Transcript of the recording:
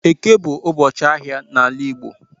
Eke bu ubochi ahia n'ala igbo